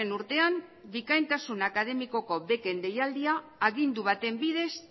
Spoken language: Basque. urtean bikaintasun akademikoko beken deialdia agindu baten bidez